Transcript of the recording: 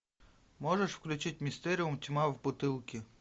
можешь включить мистериум тьма в бутылке